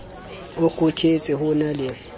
o kgothetse ho na le